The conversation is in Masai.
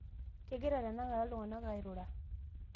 kegira tenakata iltung'anak airura